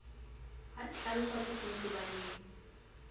ha di hlaloswa ke sentebaleng